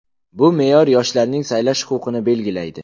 Bu me’yor yoshlarning saylash huquqini belgilaydi.